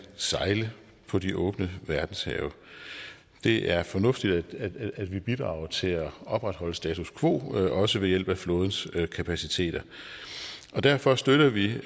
sejle på de åbne verdenshave det er fornuftigt at vi bidrager til at opretholde status quo også ved hjælp af flådens kapaciteter og derfor støtter vi